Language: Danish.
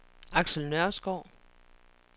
Axel Nørskov